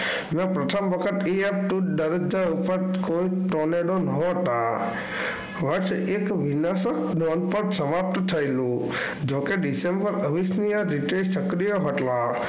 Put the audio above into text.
પ્રથમ વખત કોઇ Tornado ન હતા. બસ એક સમાપ્ત થયેલું. જો કે ડિસેમ્બર અવિસ્મિય સક્રિય હતા.